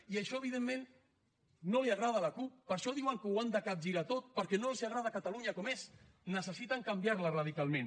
i això evidentment no li agrada a la cup per això diuen que ho han de capgirar tot perquè no els agrada catalunya com és necessiten canviar la radicalment